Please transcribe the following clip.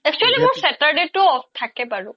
actually মোৰ saturday তো ও off থাকে বাৰু